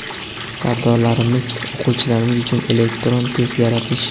Sardorlarimiz, o‘quvchilarimiz uchun elektron test yaratish.